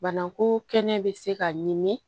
Bana ko kɛnɛ bɛ se ka ɲimi